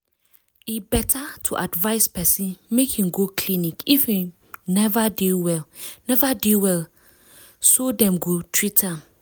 e better to advise person make im go clinic if im neva dey well neva dey well so dem go treat am